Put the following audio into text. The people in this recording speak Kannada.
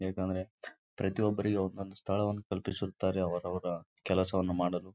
ಪಕ್ಕದಲ್ಲಿ ನಾಲ್ಕು ಬಾಟಲ್ ಗಳನ್ನು ಇಟ್ಟಿದ್ದಾನೆ ಮೇಲ್ಗಡೆ ಫ್ಯಾನ್ ಕಾಣ್ತಾ ಇದೆ.